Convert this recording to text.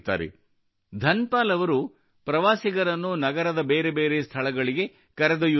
ಧನ್ ಪಾಲ್ ಅವರು ಪ್ರವಾಸಿಗರನ್ನು ನಗರದ ಬೇರೆ ಬೇರಿ ಸ್ಥಳಗಳಿಗೆ ಕರೆದೊಯ್ಯುತ್ತಿದ್ದರು